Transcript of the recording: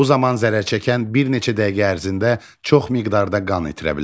Bu zaman zərərçəkən bir neçə dəqiqə ərzində çox miqdarda qan itirə bilər.